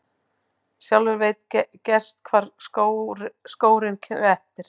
Sjálfur veit gerst hvar skórinn kreppir.